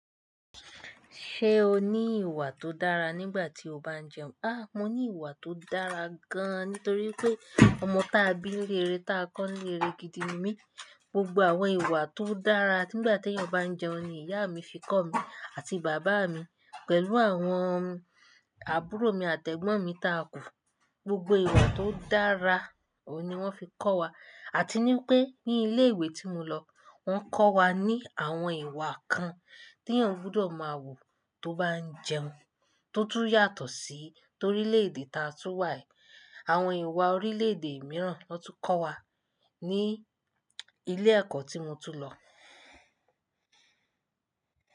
Ṣé o ní ìwà tó dára nígbà tí o bá ń jẹun? A! Mo ní ìwà tó dára gan, nítorí pé ọmọ tá bí nilé ré, tá kọ́ nilé ré gidi ni mí. Gbogbo àwọn ìwà tó dára niígbà tí ènìyàn bá ń jẹun ni ìyá mi fi kọ́ mi àti bàbá mi, pẹ̀lú àwọn àbúrò mi àtẹ́gbọ́n mi tá kù. Gbogbo ìwà tó dára oun ni wọ́n fi kọ́ wa. Àti ní pé ní ilé ìwé tí mo lọ, wọ́n kọ́ wa ní àwọn ìwà kan tí ènìyàn gbọ́dọ̀ máa wù tó bá ń jẹun, tó tún yàtọ̀ sí torílé èdè tá a tún wà. Àwọn ìwà orílè èdè mìíràn wọ́n tún kọ́ wa ní ilé ẹ̀kọ́ tí mo tún lọ.